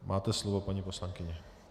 Máte slovo, paní poslankyně.